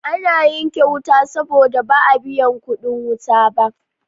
Ana yanke wuta saboda ba a biyan kuɗin wuta ba.